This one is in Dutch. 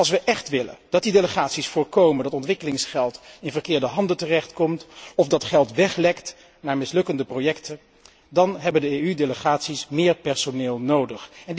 Als we echt willen dat die delegaties voorkomen dat ontwikkelingsgeld in verkeerde handen terechtkomt of dat geld weglekt naar mislukkende projecten, dan hebben de EU delegaties meer personeel nodig.